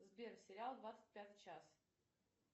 сбер сериал двадцать пятый час